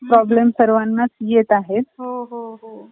problem सर्वांनाच येत आहेत .